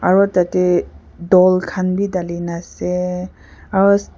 aro tade doll khan b dali na ase aro--